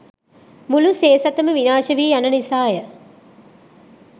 මුළු සේසතම විනාශ වී යන නිසාය